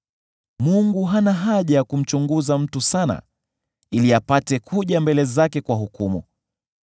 Mungu hana haja ya kumchunguza mtu sana, ili apate kuja mbele zake kwa hukumu.